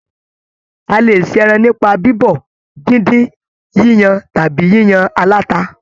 A lè ṣe ẹran nípa bibọ, díndín, yíyan tàbí yíyan alata